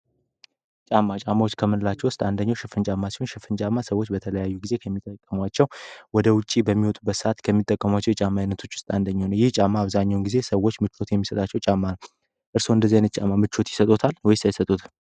ጫማ ጫማዎች ከምንላቸው ውስጥ አንደኛው ሽፍን ጫማ ሲሆን ሽፍን ጫማ ሰወች በለየያዩ ጌዜያት የሚጠቀሙት ወደሲሆን ውጪ በሚወጡበት ሰአት ከሚጠቀሟቸው የጫማ አይነቶች ውስጥ አንደኛው ነው። ይህ ጫማ ሰዎች ብዙውን ጊዜ ምቾት የሚሰጣቸው ጫማ ነው። እርስዎ እንደዚህ አይነት ጫማ ምቾት ይሰጥዎታል ወይስ አይሰጠዎትም?